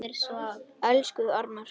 Elsku Arnar Dór.